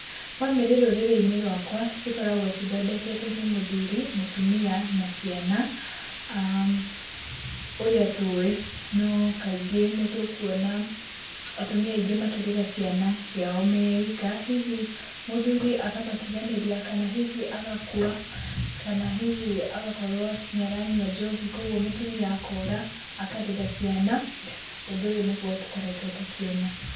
Bamĩrĩ rũrĩrĩ-inĩ rwakwa cikoragwo cithondeketwo nĩ mũthuri, mũtumia na ciana ũrĩa tũĩ, no kaingĩ nĩ tũkuona atumia aingĩ makĩrera ciana ciao me ika, hihi mũthuri akamatiganĩria kana hihi agakua kana hihi agakorwo nĩ aranyua njohi koguo mũtumia akora akarera ciana, ũndũ ũyũ nĩguo tũkoretwo tũkĩona.